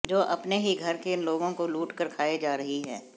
जो अपने ही घर के लोगों को लूटकर खाए जा रही है